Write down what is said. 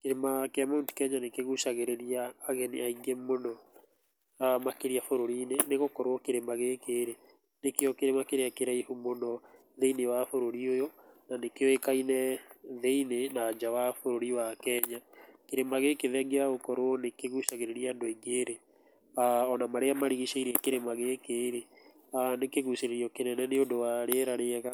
Kĩrĩma kĩa Mount Kenya nĩkĩgucagĩrĩria ageni aingĩ mũno makĩria bũrũri-inĩ nĩgũkorwo kĩrĩma gĩkĩ nĩkĩo kĩrĩma kĩria kĩraihu mũno thĩinĩ wa bũrũri ũyũ na nĩkĩoĩkaine thĩinĩ na nja wa bũrũri wa Kenya, kĩrĩma gĩkĩ thegĩa wa gũkorwo nĩ kĩgũcagĩrĩria andũ aingĩ rĩ ona marĩa marigicĩirie kĩrĩma gĩkĩ rĩ nĩ kĩgũcĩrĩrio kĩnene nĩ ũndũ wa rĩera rĩega